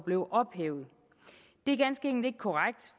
blev ophævet det er ganske enkelt ikke korrekt